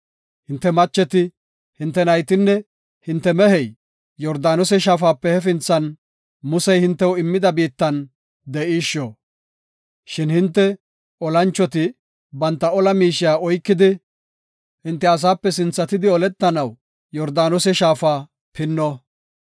Hinte macheti, hinte naytinne hinte mehey Yordaanose Shaafape hafinthan Musey hintew immida biittan de7ishshona. Shin hinte olanchoti banta ola miishiya oykidi, hinte asaape sinthatidi, oletanaw Yordaanose shaafa pinnona.